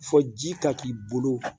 Fɔ ji ka k'i bolo